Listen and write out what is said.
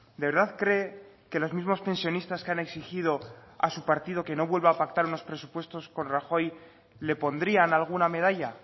de verdad cree que los mismos pensionistas que han exigido a su partido que no vuelva a pactar unos presupuestos con rajoy le pondrían alguna medalla